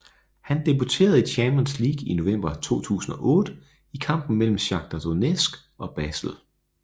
Han debuterede i Champions League i november 2008 i kampen mellem Shakhtar Donetsk og Basel